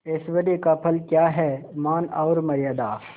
ऐश्वर्य का फल क्या हैमान और मर्यादा